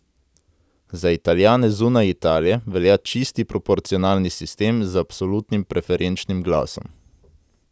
Za Italijane zunaj Italije velja čisti proporcionalni sistem z absolutnim preferenčnim glasom.